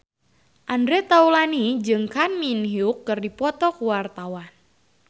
Andre Taulany jeung Kang Min Hyuk keur dipoto ku wartawan